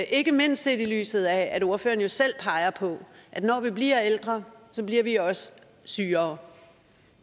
ikke mindst set i lyset af at ordføreren jo selv peger på at når vi bliver ældre bliver vi også sygere